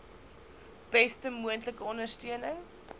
beste moontlike ondersteuning